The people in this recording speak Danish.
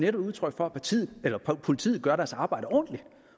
er udtryk for at politiet gør deres arbejde ordentligt